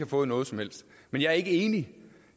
fået noget som helst men jeg er ikke enig